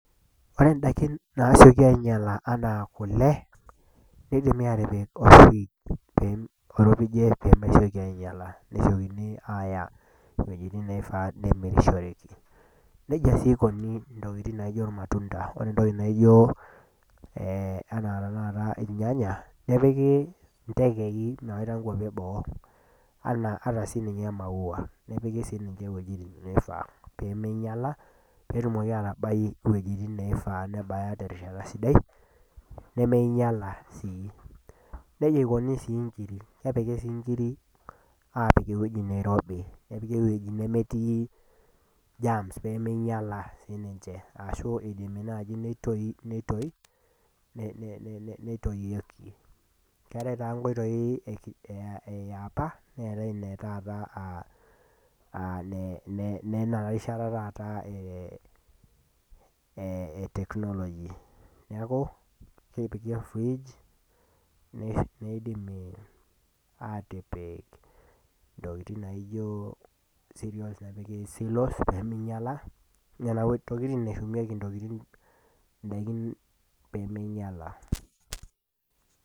Ore indaikin naasioki ainyala anaa kule, naa keidimi aatipikolfrij, oiropijie pee mesioki ainyala, nesiokini aaya iwuejitin naishaa nemirishoreki. Neija sii eikuni intokitin naijo ilmatunda, ore intokin naijo tenakata ilnyanya, nepiki intekei mewaita inkwapi e boo, ataaa siininye imaua, nepiki sii ninche iwuejitin naifaa , peemeinyala, peetumoki atabai iwuejitin naifaa nebaya terishata sidai nemeinyala sii. Neija eikuni sii inkiri, epiki sii inkirik aapik ewueji nairobi nepiki ewueji nemetii germs pee meinyala siininche, ashu eidimi naaji neitoyieki. Keatai taa inkoitoi e opa, meatai ine taata aa nena rishata taata e technology, neaku kepiki olfrij, neidimi aatipik intokitin naijo serials nepiki silos pee meinyala, nena tokitin eshumieki indaiki pee meinyala.